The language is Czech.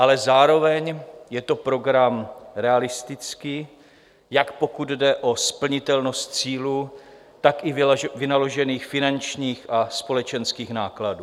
Ale zároveň je to program realistický, jak pokud jde o splnitelnost cílů, tak i vynaložených finančních a společenských nákladů.